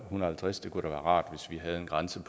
halvtreds kroner det kunne da være rart hvis vi havde en grænse